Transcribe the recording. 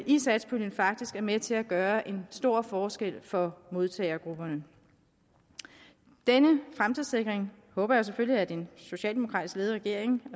i satspuljen faktisk er med til at gøre en stor forskel for modtagergrupperne denne fremtidssikring håber jeg selvfølgelig at den socialdemokratisk ledede regering